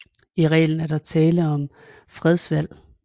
I reglen er der tale om fredsvalg